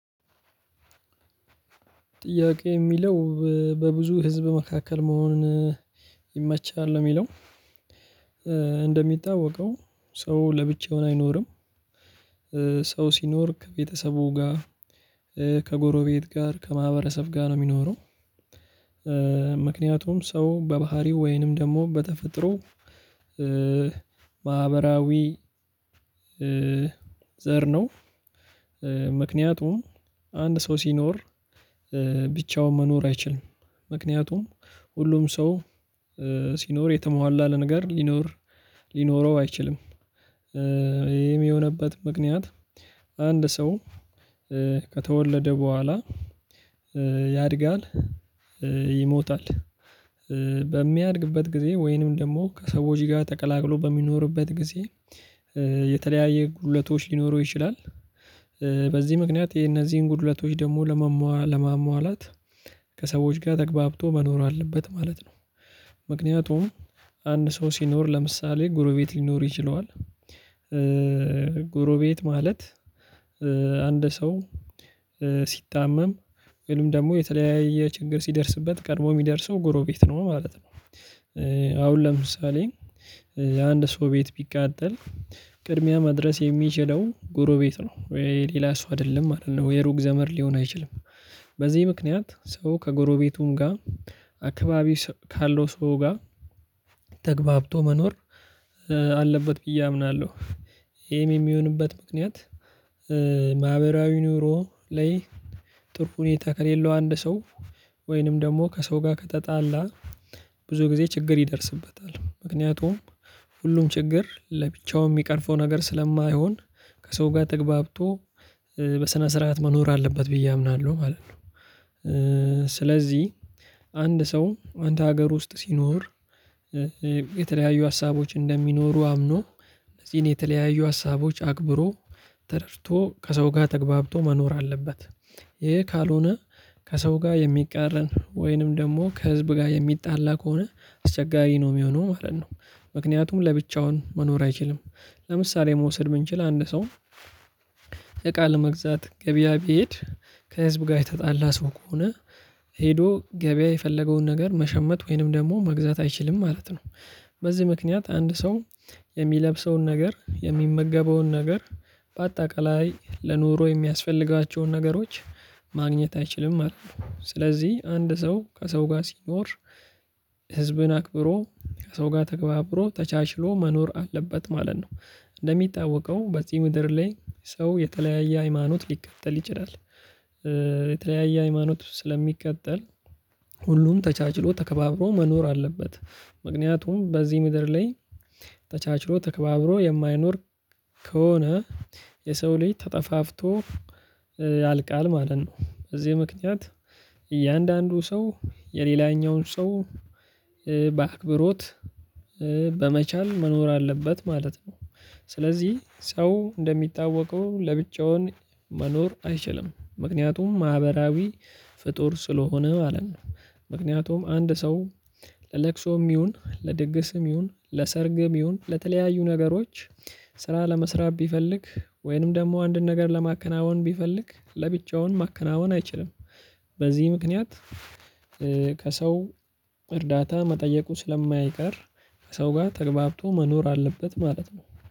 ጥያቄ የሚለው በብዙ ህዝብ መካከል መሆኑን ይመቻል ነው የሚለው። እንደሚታወቀው ሰው ለብቻውን አይኖርም። ሰው ሲኖር ከቤተሰቡ ጋር ከጎሮቤት ጋር ከማህበረሰብ ጋር ነው የሚኖረው። ምክንያቱም ሰው በባህሪው ወይንም ደግሞ በተፈጥሮ ማህበራዊ ዘር ነው። ምክንያቱም አንድ ሰው ሲኖር ብቻውን መኖር አይችልም። ምክንያቱም ሁሉም ሰው ሲኖር የተሟላ አለ ነገር ሊኖር ሊኖረው አይችልም። ይሄም የሆነበት ምክንያት አንድ ሰው ከተወለደ በኋላ ያድጋል። ይሞታል በሚያድግበት ጊዜ ወይንም ደግሞ ከሰዎች ጋር ተቀላቅሎ በሚኖርበት ጊዜ የተለያየ ጉድለቶች ሊኖሩ ይችላል። በዚህ ምክንያት የነዚህን ጉድለቶች ደግሞ ለመሟላት ከሰዎች ጋር ተገብቶ መኖር አለበት ማለት ነው። ምክንያቱም አንድ ሰው ሲኖር ለምሳሌ ጎሮቤት ሊኖር ይችለዋል። ጎሮቤት ማለት አንድ ሰው ሲታመም ወይም ደግሞ የተለያየ ችግር ሲደርስበት ቀድሞ የሚደርሰው ጎሮ ቤት ነው ማለት ነው። አሁን ለምሳሌ አንድ ሰው ቤት ቢቃጠል ቅድሚያ መድረስ የሚችለው ጎሮቤት ነው ወይ ሌላ ሰው አይደለም አይደለም ወይ ሩቅ ዘመድ ሊሆን አይችልም። በዚህ ምክንያት ሰው ከጎረቤቱም ጋር አካባቢ ካለው ሰው ጋር ተግባብቶ መኖር አለበት ብዬ አምናለሁ። ይሄም የሚሆንበት ምክንያት ማህበራዊ ኑሮ ላይ ጥሩ ሁኔታ ከሌለው አንድ ሰው ወይንም ደግሞ ከሰው ጋር ከተጣላ ብዙ ጊዜ ችግር ይደርስበታል። ምክንያቱም ሁሉም ችግር ለብቻው የሚቀርፈው ነገር ስለማይሆን ከሰው ጋር ተግባብቶ በስነ ስርዓት መኖር አለበት ብዬ አምናለሁ ማለት ነው። ስለዚህ አንድ ሰው አንድ ሀገር ውስጥ ሲኖር የተለያዩ ሀሳቦች እንደሚኖሩ አምኖ እነዚህን የተለያዩ ሀሳቦች አክብሮ ተረድቶ ከሰው ጋር ተገብቶ መኖር አለበት። ይሄ ካልሆነ ከሰው ጋር የሚቃረን ወይንም ደግሞ ከህዝብ ጋር የሚጣላ ከሆነ አስቸጋሪ ነው የሚሆነው ማለት ነው። ምክንያቱም ለብቻውን መኖር አይችልም። ለምሳሌ መውሰድ የምንችል አንድ ሰው እቃ ለመግዛት ገበያ ቢሄድ ከህዝብ ጋር የተጣላ ሰው ከሆነ ሄዶ ገበያ የፈለገውን ነገር መሸመት ወይንም ደግሞ መግዛት አይችልም ማለት ነው። በዚህ ምክንያት አንድ ሰው የሚለብሰውን ነገር የሚመገበውን ነገር በአጠቃላይ ለኑሮ የሚያስፈልጋቸውን ነገሮች ማግኘት አይችልም ማለት ነው። ስለዚህ አንድ ሰው ከሰው ጋር ሲኖር ህዝብን አክብሮ ከሰው ጋር ተገባብሮ ተቻችሎ መኖር አለበት ማለት ነው። እንደሚጠዋወቀው በዚህ ምድር ላይ ሰው የተለያየ ሃይማኖት ሊከተል ይችላል። የተለያየ ሃይማኖት ስለሚከተል ሁሉም ተቻችሎ ተከባብሮ መኖር አለበት። ምክንያቱም በዚህ ምድር ላይ ተቻችሎ ተከባብሮ የማይኖር ከሆነ የሰው ልጅ ተጠፋፍቶ ያልቃል ማለት ነው። በዚህ ምክንያት እያንዳንዱ ሰው የሌላኛውን ሰው በአክብሮት በመቻል መኖር አለበት ማለት ነው። ስለዚህ ሰው እንደሚታወቀው ለብቻውን መኖር አይችልም ምክንያቱም ማህበራዊ ፍጡር ስለሆነ ማለት ነው። ምክንያቱም አንድ ሰው ለቅሶም ይሁን ለድግስም ይሁን ለሰርግም ይሁን ለተለያዩ ነገሮች ስራ ለመስራት ቢፈልግ ወይንም ደግሞ አንድን ነገር ለማከናወን ቢፈልግ ለብቻውን ማከናወን አይችልም። በዚህ ምክንያት ከሰው እርዳታ መጠየቁ ስለማይቀር ከሰው ጋር ተገብቶ መኖር አለበት ማለት ነው